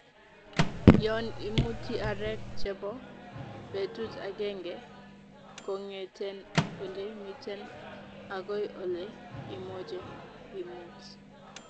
yon imuti areek chebo betut agenge kongeten ole miten agoi ole imoche imut